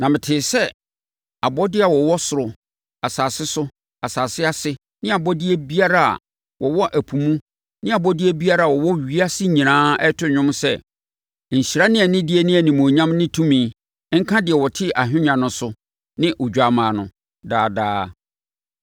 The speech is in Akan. Na metee sɛ abɔdeɛ a wɔwɔ ɔsoro, asase so, asase ase ne abɔdeɛ biara a wɔwɔ ɛpo mu ne abɔdeɛ biara a wɔwɔ ewiase nyinaa reto dwom sɛ, “Nhyira ne anidie ne animuonyam ne tumi, nka deɛ ɔte ahennwa no so ne Odwammaa no, daa daa!”